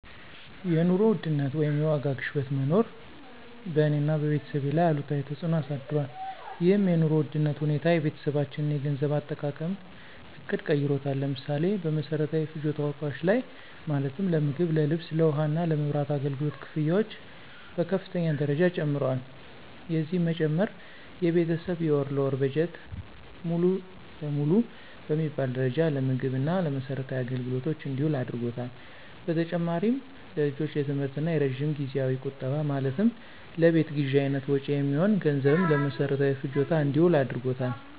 የኑሮ ውድነት ወይም የዋጋ ግሽበት መኖር በእኔ እና በቤተሰቤ ላይ አሉታዊ ተፅዕኖ አሳድሯል። ይህም የኑሮ ውድነት ሁኔታ የቤተሰባችንን የገንዘብ አጠቃቀም ዕቅድ ቀይሮታል። ለምሳሌ፦ በመሰረታዊ ፍጆታ እቃዎች ላይ ማለትም ለምግብ፣ ለልብስ፣ ለውሃ እና የመብራት አገልግሎት ክፍያዎች በከፍተኛ ደረጃ ጨምረዋል። የዚህም መጨመር የቤተሰብ የወር ለወር በጀት ሙሉ ለሙሉ በሚባል ደረጃ ለምግብ እና ለመሰረታዊ አገልግሎቶች እንዲውል አድርጓታል። በተጨማሪም ለልጆች የትምህርት እና የረጅም ጊዜያዊ ቁጠባ ማለትም ለቤት ግዥ አይነት መጭወች የሚሆን ገንዘብም ለመሰረታዊ ፍጆታ እንዲውል አድርጎታል።